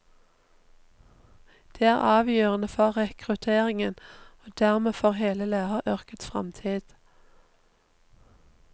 Det er avgjørende for rekrutteringen og dermed for hele læreryrkets fremtid.